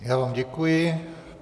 Já vám děkuji.